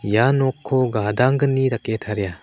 ia nokko gadanggni dake taria.